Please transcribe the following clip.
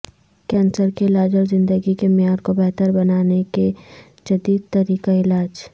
cancer کے علاج اور زندگی کے معیار کو بہتر بنانے کے کہ جدید طریقہ علاج